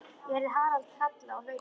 Ég heyrði Harald kalla og hlaupa.